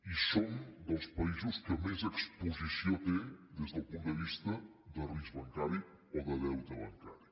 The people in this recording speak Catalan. i som dels països que més exposició té des del punt de vista de risc bancari o de deute bancari